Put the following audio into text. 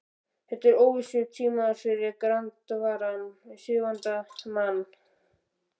Þetta eru óvissutímar fyrir grandvaran og siðavandan mann.